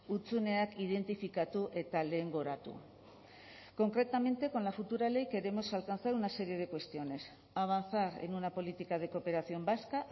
hutsuneak identifikatu eta lehengoratu concretamente con la futura ley queremos alcanzar una serie de cuestiones avanzar en una política de cooperación vasca